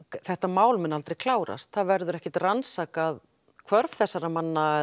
þetta mál mun aldrei klárast það verður ekki rannsakað hvörf þessara manna